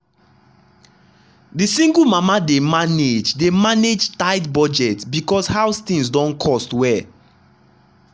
the single mama dey manage dey manage tight budget because house things don cost well.